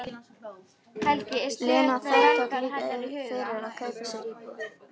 Lena þvertók líka fyrir að kaupa sér íbúð.